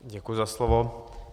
Děkuji za slovo.